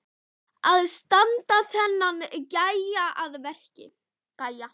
Að standa þennan gæja að verki!